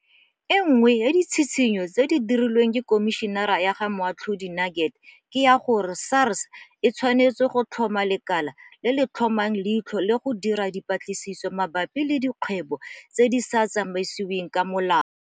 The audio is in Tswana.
E nngwe ya ditshitshinyo tse di dirilweng ke Khomišene ya ga Moatlhodi Nuget ke ya gore SARS e tshwanetse go tlhoma lekala le le tla tlhomang leitlho le go dira dipatlisiso mabapi le dikgwebo tse di sa tsamaisiweng ka molao.